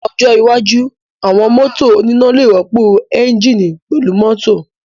Ní ọjọ́ iwájú, àwọn mọ́tò oníná lè rọ́pò ẹ́ńjíìnì pẹ̀lú mọ́tò